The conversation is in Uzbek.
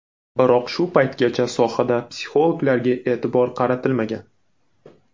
Biroq shu paytgacha sohada psixologlarga e’tibor qaratilmagan.